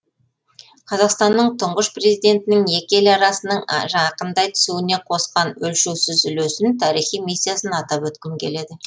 қазақстанның тұңғыш президентінің екі ел арасының жақындай түсуіне қосқан өлшеусіз үлесін тарихи миссиясын атап өткім келеді